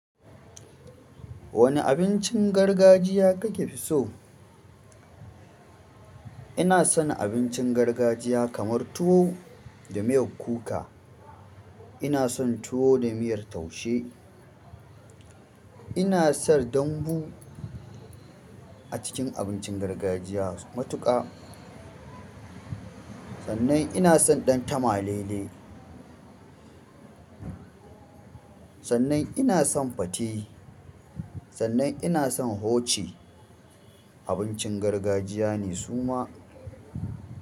Wani abincin gargajiya kake fi so? Ina son abincin gargajiya kamar tuwo da miyar kuka. Ina son tuwo da miyar taushe. Ina son dambu a cikin abincin gargajiya matuƙa. Sannan ina son ɗantama lele. Sannan ina son fate. Sannan ina son hoci. Abincin gargajiya ne suma.